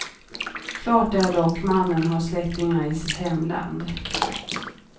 Klart är dock mannen har släktingar i sitt hemland.